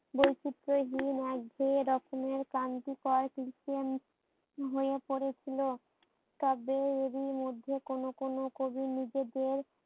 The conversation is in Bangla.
বৈচিত্রহীন এক ঘেয়ে রকমের খাঙ্কি পয় হইয়া পড়েছিল। তবে এরি মধ্যে কোনো কোনো কবি নিজেদের